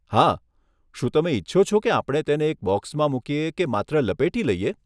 હા, શું તમે ઇચ્છો છો કે આપણે તેને એક બોક્સમાં મૂકીએ કે માત્ર લપેટી લઈએ?